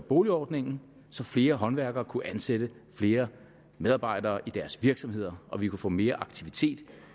boligjobordningen så flere håndværkere kunne ansætte flere medarbejdere i deres virksomheder og vi kunne få mere aktivitet